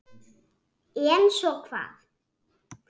En svo hvað?